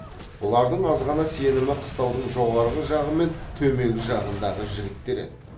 бұлардың азғана сенімі қыстаудың жоғарғы жағы мен төменгі жағындағы жігіттер еді